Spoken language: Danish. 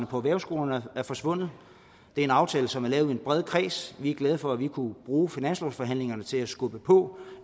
på erhvervsskolerne er forsvundet det er en aftale som er lavet i en bred kreds vi er glade for at vi kunne bruge finanslovsforhandlingerne til at skubbe på